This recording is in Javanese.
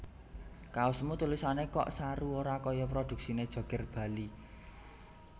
Kaosmu tulisane kok saru ora koyo produksine Joger Bali